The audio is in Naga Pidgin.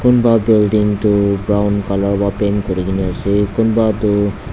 kunba building tu brown colour wa paint kurikaena ase kunba tu--